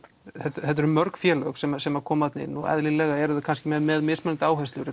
þetta eru mörg félög sem sem koma þarna inn og eðlilega eru þau kannski með mismunandi áherslur